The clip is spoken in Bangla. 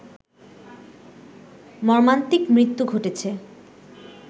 মর্মান্তিক মৃত্যু ঘটেছে